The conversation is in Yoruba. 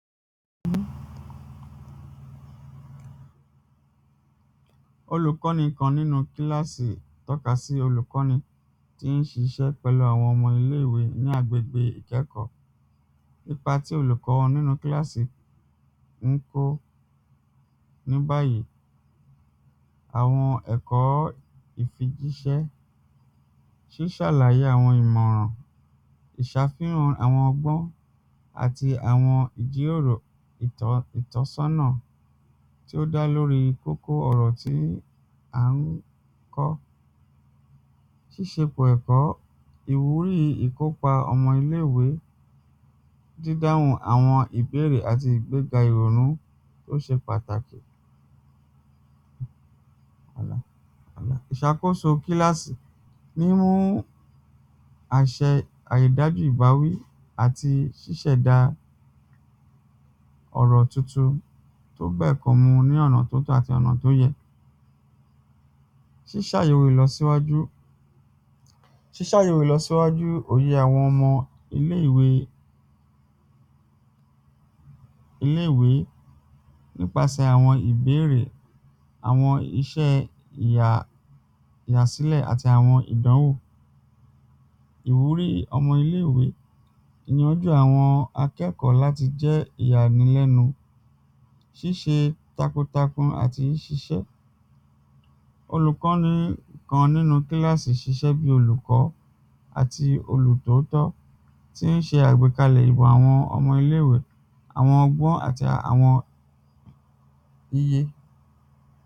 olùkọ́ni kan nínú kílásì tọ́ka sí olùkọ́ni tín ṣiṣẹ́ pẹ̀lú àwọn ọmọ ilé-ìwé ní agbègbè ìkẹ́kọ́ ipa tí olùkọ́ wa nínú kílásì ńkó ní báyìí àwọn ẹ̀kọ́ ìfijíṣẹ́, ṣíṣàlàyé àwọn ìmọ̀ràn, ìṣàfihàn àwọn ọgbọ́n àti àwọn ìjíròrò ìtọ́ ìtọ́sọ́nà tí ó dá lórí kókó ọ̀rọ̀ tí a ń kọ́ tí ṣe pò ẹ̀kọ́ ìwúrí ìkópa ọmọ ilé-ìwé dídáhùn àwọn ìbérè àti ìgbégà ìrònú to ṣé pàtàkì ìṣàkóso kílásì, mímú àṣẹ ìdájú ìbáwí àti ṣíṣẹ̀dáa ọ̀rọ̀ tuntun tó bẹ̀kọ́ mu ní ọ̀nà tó tọ́ àti ọ̀nà tó yẹ ṣíṣàyẹ́wò ìlọsíwájú ṣíṣàyẹ́wò ìlọsíwájú òyé àwọn ọmọ ilé-ìwé ilé-ìwé nípasẹ̀ àwọn ìbérè, àwọn iṣẹ́ ìyà ìyàsílẹ̀ àti àwọn ìdánwò ìwúrí ọmọ ilé-ìwé níwájú àwọn akẹ́kọ̀ọ́ láti jẹ́ ìyànìlẹ́nu ṣíṣe takuntakun àti ṣiṣẹ́, olùkọ́ni kan nínú kílásì ṣiṣẹ́ bíi olùkọ́ àti olù tòótọ́ tín ṣe àgbékalẹ̀ ìwà àwọn ọmọ ilé-ìwé, àwọn ọgbọ́n àti àwọn iye